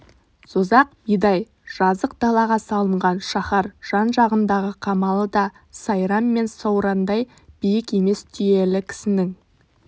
созақ мидай жазық далаға салынған шаһар жан-жағындағы қамалы да сайрам мен саурандай биік емес түйелі кісінің